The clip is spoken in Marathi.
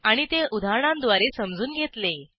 आणि ते उदाहरणांद्वारे समजून घेतले